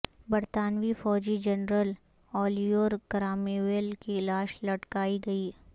برطانوی فوجی general Oliver Cromwell کی لاش لٹکائی گئی